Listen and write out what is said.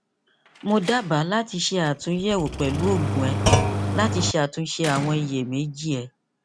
mo daba lati ṣe atunyẹwo pẹlu oogun rẹ lati ṣatunṣe awọn iyemeji rẹ